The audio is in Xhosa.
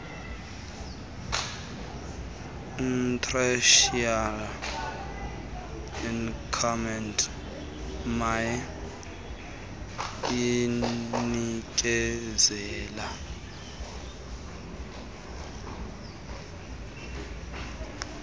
ichrysalis academy inikezela